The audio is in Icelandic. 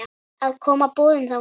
að koma boðum þangað.